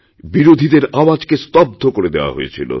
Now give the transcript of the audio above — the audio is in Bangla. বিরোধীদের আওয়াজকে স্তব্ধ করে দেওয়া হয়েছিল